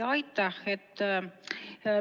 Aitäh!